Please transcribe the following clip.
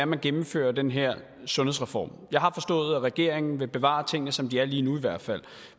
man gennemfører den her sundhedsreform jeg har forstået at regeringen vil bevare tingene som de er lige nu i hvert fald